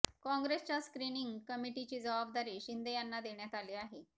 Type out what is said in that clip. काँग्रेसच्या स्क्रिनिंग कमिटीची जवाबदारी शिंदें यांना देण्यात आली आहे